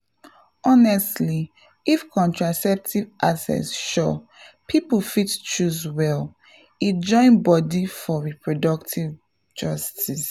honestly if contraceptive access sure people fit choose well — e join body for reproductive justice.